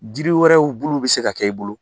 Jiri wɛrɛw bul' u bɛ se ka kɛ i bolo.